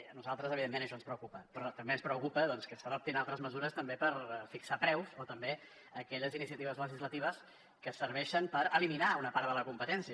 a nosaltres evidentment això ens preocupa però també ens preocupa que s’adoptin altres mesures també per fixar preus o també aquelles iniciatives legislatives que serveixen per eliminar una part de la competència